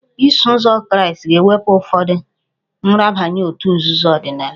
Iso ụzọ Kraịst ga-ewepụ ụfọdụ nrabaye òtù nzuzo ọdịnala